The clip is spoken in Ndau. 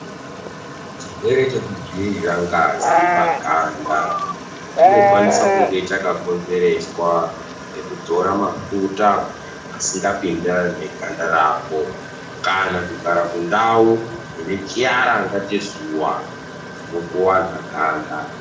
Chirwere chekudzivirira ngazi pagandaa chinokwanisa kunge chakakonzereswa nekuzora mafuta asingapindirani neganda rako kana kugara kundau yechiaranga chezuwa chinokuwadza ganda.